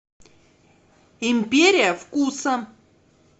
империя вкуса